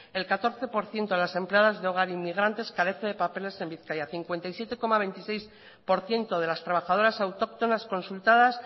el catorce por ciento de las empleadas de hogar inmigrantes carece de papeles en bizkaia cincuenta y siete coma veintiséis por ciento de las trabajadoras autóctonas consultadas